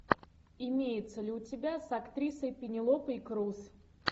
имеется ли у тебя с актрисой пенелопой крус